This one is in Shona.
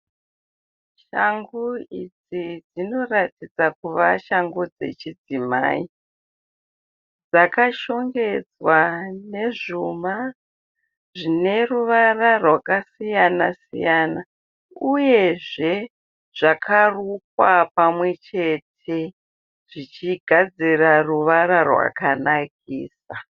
Shangu idzi dzinoratidza kuva shangu dzechidzimai. Dzakashongedzwa nezvuma zvine ruvara rwakasiyana siyana uyezve zvakarukwa pamwechete zvichigadzira ruvara rwakanakisa.